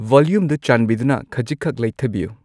ꯚꯣꯂꯨꯝꯗꯨ ꯆꯥꯟꯕꯤꯗꯨꯅ ꯈꯖꯤꯛꯈꯛ ꯂꯩꯊꯕꯤꯌꯨ